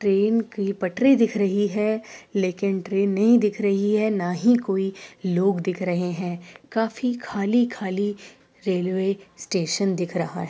Train की पटरी दिख रही है लेकिन ट्रेन नहीं दिखे रही है ना ही कोई लोग दिखे रहे हैं। काफी खाली खाली रेलवे स्टेशन दिख रहा --